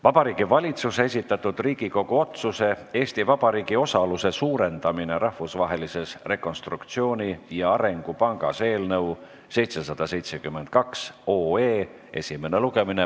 Vabariigi Valitsuse esitatud Riigikogu otsuse "Eesti Vabariigi osaluse suurendamine Rahvusvahelises Rekonstruktsiooni- ja Arengupangas" eelnõu 772 esimene lugemine.